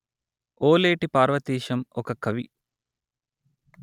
ఓలేటి పార్వతీశం ఒక కవి